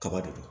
Kaba de don